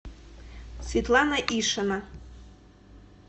светлана ишина